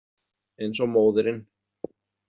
Eins og móðirin.